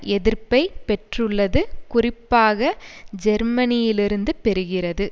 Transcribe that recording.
எதிர்ப்பை பெற்றுள்ளது குறிப்பாக ஜேர்மனியிலிருந்து பெறுகிறது